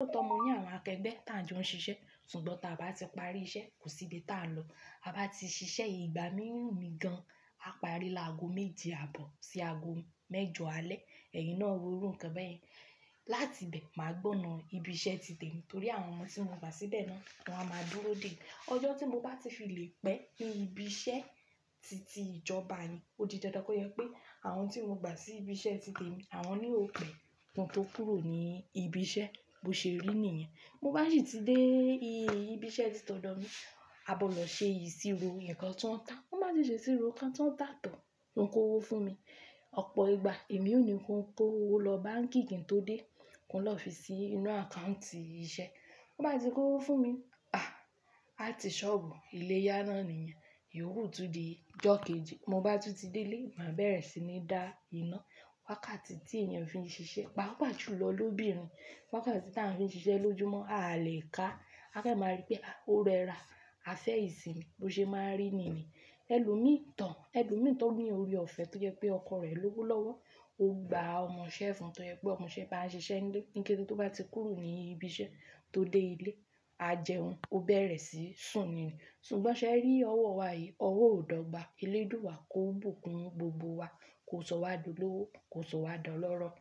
Lóoto mọ ní àwọn akẹgbẹ́ tí àn jọ ń ṣiṣẹ́ ṣùgbọ́n táa bá ti parí iṣẹ́ kò sí ibi táa lọ. Ta bá ti ṣiṣẹ́ ìgbà mìíràn mi gan, a parí láago méje àbọ̀ sí ago mẹ́jọ alẹ́, ẹ̀yin náà wó ru nǹkan bẹ́ẹ̀yẹn. Láti bẹ́ẹ̀ màá gbóná ibi iṣẹ́ ti tèmi torí àwọn ọmọ tí mo gbà síbẹ̀ náà wọ́n á máa dúró dè. Ọjọ́ tí mo bá ti fi lè pẹ́ ibi iṣẹ́ ti ti ìjọba yìí ó di dandan kó yẹ pé àwọn tí mo gbà sí ibi iṣẹ́ ti tèmi àwọn náà o pẹ̀. Ohun tó kúrò ní ibi iṣẹ́ bó ṣe rí nìyẹn. Mo bá ṣì ti dé ibi iṣẹ́ tí tọ̀dọ̀ mi, a gbodo ṣe ìṣirò nǹkan tí wọ́n ń ta. Wọ́n bá ti ṣe ìṣirò nǹkan tí wọ́n ń ta tán, wan kó owó fún mi. Ọ̀pọ̀ ìgbà èmi ò ní kó owó lọ báǹkì kí n tó dé, kí n lọ fi sí inú àkáùntì iṣẹ́. Wọ́n bá ti kó owó fún mi, à á ti ṣọ́bùù ilé yánánìyẹn, ìyoku tún di ijọ́ keji. Mo bá tún ti dé ilé, màá bẹ̀rẹ̀ sí ní dá iná. Wákàtí tí èèyàn fi ń ṣiṣẹ́, pàápàá jù lọ lóbìnrin. Wákàtí tí à ń fi ń ṣiṣẹ́ lójoojúmọ́ a lè ká. A fẹ́ máa rí pé a ó rẹra, a fẹ́ ìsinmi bó ṣe máa ń rí niyen Ẹlòmíì tò, ẹlòmíì tó ní orí ọ̀fẹ́ tó jẹ́ pé ọkọ rẹ̀ lówólọ́wọ́, ó gba ọmọṣẹ́ fún tó jẹ́ pé ọmọṣẹ́ bá ń ṣiṣẹ́ nlé ní kété tó bá ti kúrò ní ibi iṣẹ́ tó dé ilé, a jẹun, ó bẹ̀rẹ̀ sí ń sùn ni. Ṣùgbọ́n ṣe ẹ rí ọwọ́ wa yìí? Ọwọ́ ò dọ́gba, eléèdúà kò bùkún gbogbo wa, kò sọwá dolówó, kò sọ wá dọ̀lọ́rọ̀.